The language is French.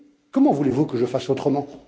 Comment voulez vous que je fasse autrement?